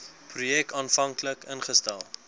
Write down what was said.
projek aanvanklik ingestel